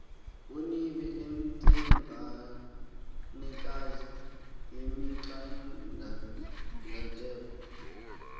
onibe intsengwanekazi yemingcangatelo